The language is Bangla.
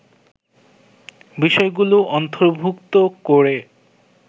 বিষয়গুলো অন্তর্ভুক্ত করে